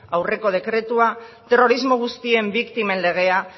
aurreko dekretua terrorismo guztien biktimen legea